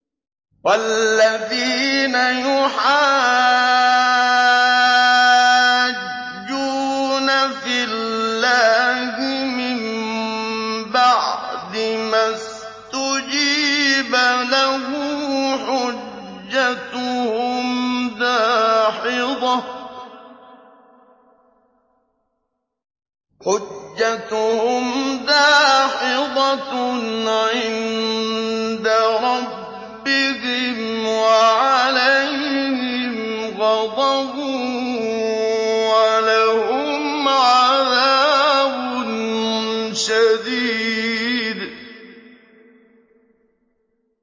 وَالَّذِينَ يُحَاجُّونَ فِي اللَّهِ مِن بَعْدِ مَا اسْتُجِيبَ لَهُ حُجَّتُهُمْ دَاحِضَةٌ عِندَ رَبِّهِمْ وَعَلَيْهِمْ غَضَبٌ وَلَهُمْ عَذَابٌ شَدِيدٌ